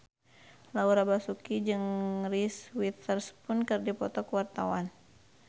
Laura Basuki jeung Reese Witherspoon keur dipoto ku wartawan